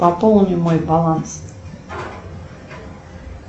пополни мой баланс